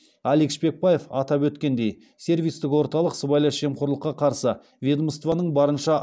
алик шпекбаев атап өткендей сервистік орталық сыбайлас жемқорлыққа қарсы ведомстваның барынша